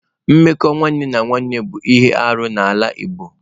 Mmekọ nwanne na nwanne bụ ihe arụ n'ala Igbo.